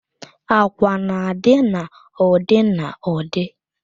Àkwà na-adị n'ụdị n'ụdị